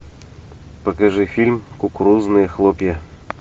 покажи фильм кукурузные хлопья